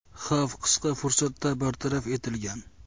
Xavf qisqa fursatda bartaraf etilgan.